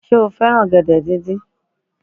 Sé o fẹ́ràn ọ̀gẹ̀dẹ̀ díndín